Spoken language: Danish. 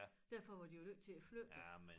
Derfor var de jo nødt til at flytte det